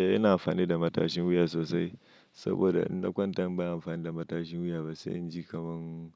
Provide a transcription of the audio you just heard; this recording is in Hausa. Eh, ina amfani da matashin wuya sosai saboda inna kwanta in ban yi amfani da matashin wuya ba, sai in ji kaman